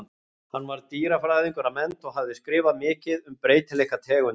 Hann var dýrafræðingur að mennt og hafði skrifað mikið um breytileika tegunda.